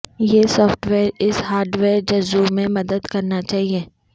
یہ software اس hardware جزو میں مدد کرنا چاہئے